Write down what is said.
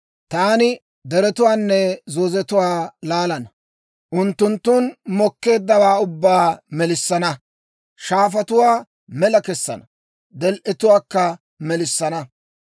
Taani deretuwaanne zoozetuwaa laalana; unttunttun mokkeeddawaa ubbaa melissana. Shaafatuwaa mela kessana; del"etuwaakka melissana.